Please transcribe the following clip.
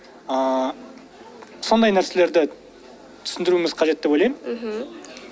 ыыы сондай нәрселерді түсіндіруіміз қажет деп ойлаймын мхм